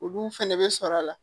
Olu fɛnɛ bɛ sɔrɔ a la